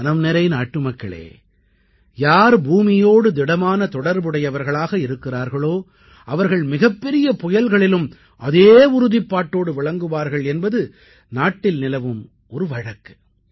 என் மனம் நிறை நாட்டுமக்களே யார் பூமியோடு திடமான தொடர்புடையவர்களாக இருக்கிறார்களோ அவர்கள் மிகப்பெரிய புயல்களிலும் அதே உறுதிப்பாட்டோடு விளங்குவார்கள் என்பது நாட்டில் நிலவும் ஒரு வழக்கு